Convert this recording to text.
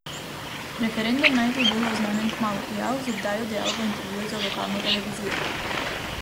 Referendum naj bi bil oznanjen kmalu, je Al Zubajdi dejal v intervjuju za lokalno televizijo.